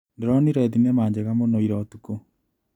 Ndĩronire thinema njega mũno ira ũtukũ.